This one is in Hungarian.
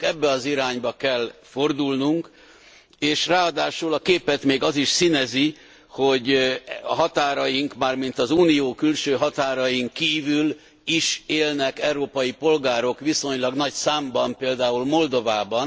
Nekünk ebbe az irányba kell fordulnunk és ráadásul a képet még az is színezi, hogy határaink, mármint az Unió külső határain kívül is élnek európai polgárok viszonylag nagy számban, például Moldovában.